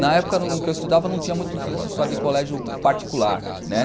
Na época em que eu estudava não tinha muito nessa história de colégio particular, né?